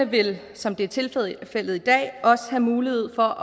vil som det er tilfældet i dag også have mulighed for